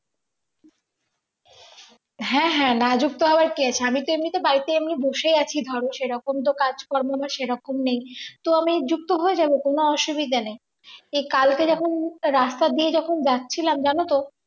হ্যাঁ হ্যাঁ না যুক্ত হওয়ার কি আছে আমি তো এমনিতেই বাড়িতে এমনি বসে আছি ধরো সেরকম তো কাজকর্ম আমার সেরকম নেই তো আমি যুক্ত হয়ে যাব কোন অসুবিধা নেই এ কালকে যখন একটা রাস্তা দিয়ে যখন যাচ্ছিলাম জানো তো